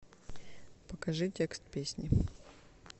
покажи текст песни